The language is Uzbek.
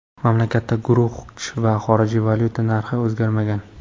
Mamlakatda guruch va xorijiy valyuta narxi o‘zgarmagan.